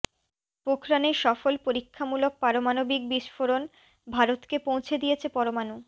পোখরানে সফল পরীক্ষামূলক পারমাণবিক বিস্ফোরণ ভারতকে পৌছে দিয়েছে পরমাণু